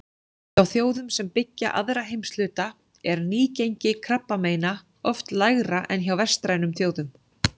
Hjá þjóðum sem byggja aðra heimshluta er nýgengi krabbameina oft lægra en hjá vestrænum þjóðum.